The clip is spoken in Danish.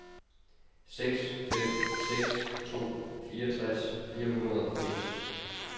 seks fem seks to fireogtres fire hundrede og firs